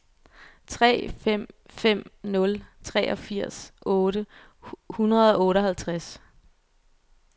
tre fem fem nul treogfirs otte hundrede og otteoghalvtreds